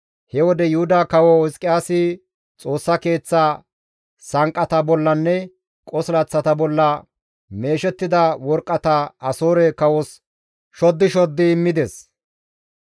He wode Yuhuda kawo Hizqiyaasi Xoossa Keeththa sanqqata bollanne qosilaththata bolla meeshettida worqqata Asoore kawos shoddi shoddi immides.